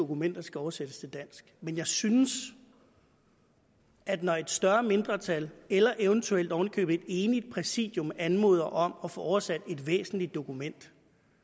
dokumenter skal oversættes til dansk men jeg synes at når et større mindretal eller eventuelt ovenikøbet et enigt præsidium anmoder om at få oversat et væsentligt dokument